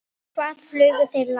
Hvað flugu þeir langt?